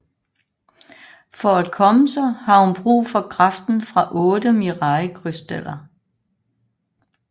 For at komme sig har hun brug for kraften fra otte Mirai Crystals